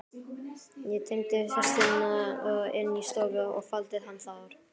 Ég teymdi hestinn inn í stofu og faldi hann þar.